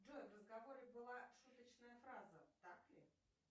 джой в разговоре была шуточная фраза так ли